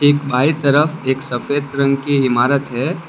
एक बाई तरफ एक सफेद रंग की इमारत है।